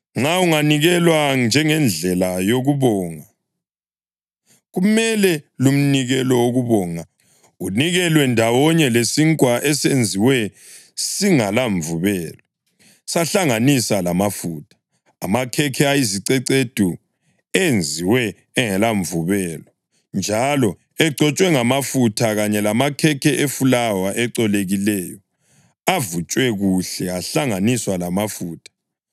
Nxa unganikelwa njengendlela yokubonga, kumele lumnikelo wokubonga unikelwe ndawonye lesinkwa esenziwe singelamvubelo sahlanganise lamafutha, amakhekhe ayizicecedu enziwe engelamvubelo njalo egcotshwe ngamafutha, kanye lamakhekhe efulawa ecolekileyo avutshwe kuhle ahlanganiswa lamafutha.